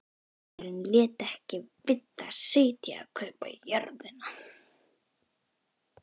Gesturinn lét ekki við það sitja að kaupa jörðina.